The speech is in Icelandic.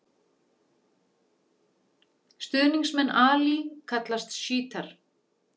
Stuðningsmenn Ali kallast sjítar.